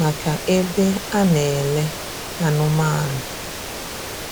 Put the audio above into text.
maka ebe e na-elè anụ̀manụ̀.